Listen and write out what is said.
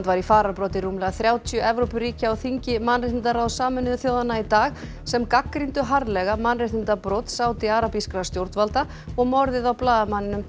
var í fararbroddi rúmlega þrjátíu Evrópuríkja á þingi mannréttindaráðs Sameinuðu þjóðanna í dag sem gagnrýndu harðlega mannréttindabrot stjórnvalda og morðið á blaðamanninum